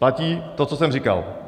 Platí to, co jsem říkal.